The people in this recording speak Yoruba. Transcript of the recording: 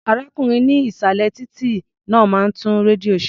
Arákùnrin ní ìsàlẹ̀ títí náà máa ń tún rédíò ṣe.